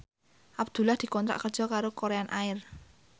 Abdullah dikontrak kerja karo Korean Air